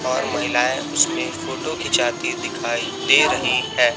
और महिलाएं उसमे फोटो खिंचाती दिखाई दे रही हैं।